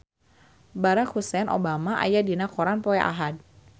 Barack Hussein Obama aya dina koran poe Ahad